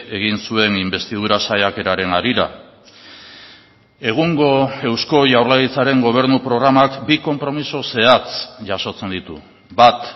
egin zuen inbestidura saiakeraren harira egungo eusko jaurlaritzaren gobernu programak bi konpromiso zehatz jasotzen ditu bat